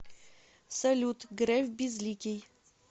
салют греф безликий